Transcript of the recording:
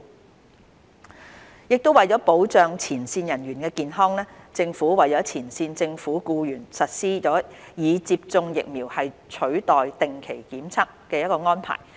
接種疫苗取代定期檢測為了保障前線人員的健康，政府為前線政府僱員實施"以接種疫苗取代定期檢測"的安排。